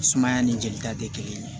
Sumaya ni jelita tɛ kelen ye